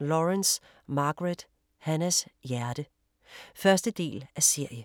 Lawrence, Margaret: Hannahs hjerte 1. del af serie.